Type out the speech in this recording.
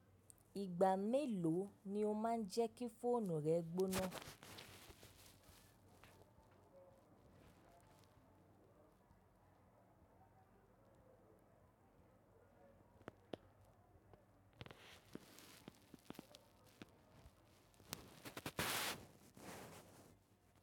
Ìgbà mélòó ni o má ń jẹ́ kí fóònù rẹ gbóná?